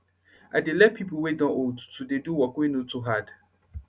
i dey let de pipo wey don old to dey do work wey nor too hard